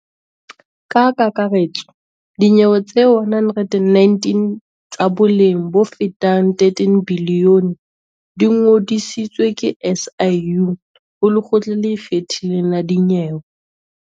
Ka kakaretso dinyewe tse 119 tsa boleng bofetang R13 bilione di ngodisitswe ke SIU ho Lekgotla le Ikgethileng la Dinyewe.